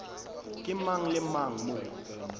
ke mang le mang mo